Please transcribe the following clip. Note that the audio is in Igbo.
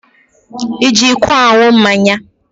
Ị ji iko aṅụ mmanya?